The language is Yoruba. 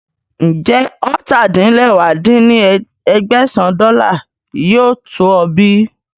Ń jẹ́ ọ́ta-din-lẹwá dín ní ẹgbẹ́sán dọ́là yìí to ọ bí